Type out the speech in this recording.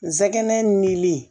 Nsɛgɛn nili